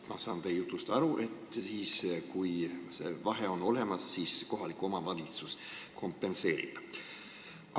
Ma saan teie jutust aru, et kui vahe on olemas, siis kohalik omavalitsus kompenseerib selle.